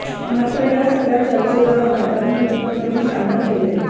मात्र या सगळ्या चर्चेला आज दादांनी उत्तर देऊन शांत केले